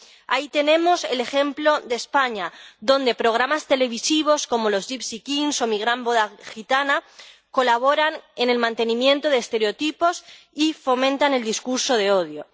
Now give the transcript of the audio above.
Ahí tenemos el ejemplo de España, donde programas televisivos, como Los Gipsy Kings o Mi gran boda gitana colaboran en el mantenimiento de estereotipos y fomentan el discurso de odio.